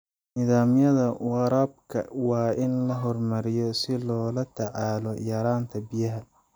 Nidaamyada waraabka waa in la horumariyo si loola tacaalo yaraanta biyaha.